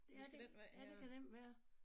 Ja det ja det kan nemt være